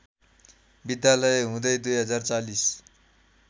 विद्यालय हुँदै २०४०